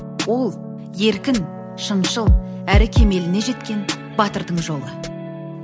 ол еркін шыншыл әрі кемеліне жеткен батырдың жолы